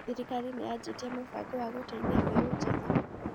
Thirikari nĩ yajĩtie mũbango wa gũteithia mbeũ njĩthĩ?